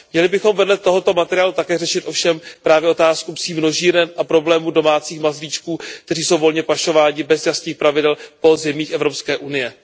Měli bychom vedle tohoto materiálu také řešit ovšem právě otázku psích množíren a problémů domácích mazlíčků, kteří jsou volně pašováni bez jasných pravidel po zemích Evropské unie.